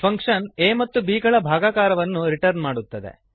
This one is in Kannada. ಫಂಕ್ಶನ್ a ಮತ್ತು b ಗಳ ಭಾಗಾಕಾರವನ್ನು ರಿಟರ್ನ್ ಮಾಡುತ್ತದೆ